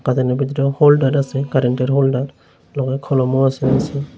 Holder আছে কারেন্টের holder লগে কলমও আছে দেখছি।